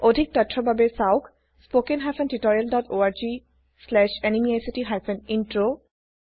অধিক তথ্যৰ বাবে চাওকস্পোকেন hyphen tutorial dot O R G slash NMEICT hyphen intro